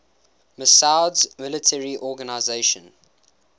massoud's military organization